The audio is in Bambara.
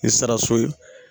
Ni sara so ye